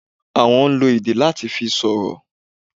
Àwon n lo èdè láa ti fi sọ̀rọ̀